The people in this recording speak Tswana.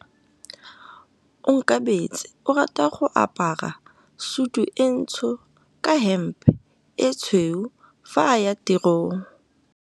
Onkabetse o rata go apara sutu e ntsho ka hempe e tshweu fa a ya tirong.